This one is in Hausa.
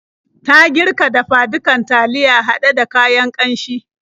Ta girka dafa-dukan taliya haɗe da kayan ƙanshi.